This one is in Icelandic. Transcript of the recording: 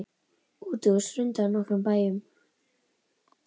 Útihús hrundu á nokkrum bæjum.